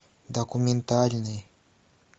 документальный